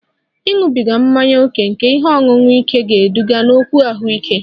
Ịṅụbiga mmanya ókè nke ihe ọṅụṅụ ike ga-eduga n'okwu ahụike